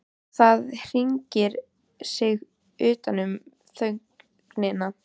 Það hringar sig utan um þögnina.